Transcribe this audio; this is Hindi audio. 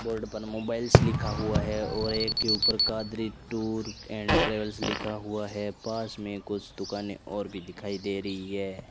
बोर्ड पर मोबाइल्स लिखा हुआ है और एक के ऊपर कादरी टूर एंड ट्रेवल्स लिखा हुआ है पास में कुछ दुकानें और भी दिखाई दे रही है।